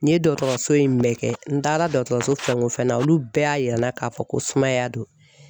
N ye dɔgɔtɔrɔso in bɛɛ kɛ n taara dɔgɔtɔrɔso fɛn o fɛn na olu bɛɛ y'a yira n na k'a fɔ ko sumaya don